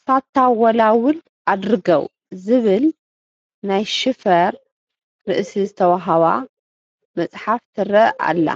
ሳታወላውል ኣድርገው ዝብል ናይ ሽፋር ርእሲ ዝተዋህባ መፅሓፍ ትርአ ኣላ፡፡